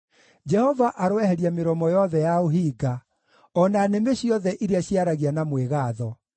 Jehova aroeheria mĩromo yothe ya ũhinga, o na nĩmĩ ciothe iria ciaragia na mwĩgaatho,